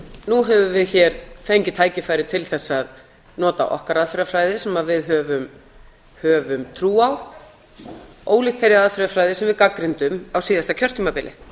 nú höfum við hér fengið tækifæri til þess að nota okkar aðferðafræði sem við höfum trú á ólíkt þeirri aðferðafræði sem við gagnrýndum á síðasta kjörtímabili